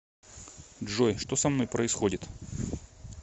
джой что со мной происходит